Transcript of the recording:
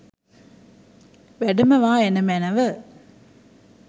වැඩමවා එන මැනැව.